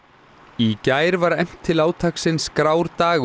í gær var efnt til átaksins grár dagur